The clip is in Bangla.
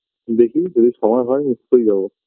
দেখি যদি সময় হয় নিশ্চয়ই যাবো